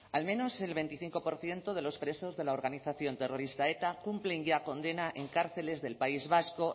al menos el veinticinco por ciento de los presos de la organización terrorista eta cumplen ya condena en cárceles del país vasco